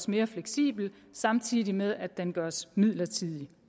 mere fleksibel samtidig med at den gøres midlertidig